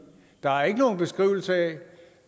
der er ikke nogen beskrivelse af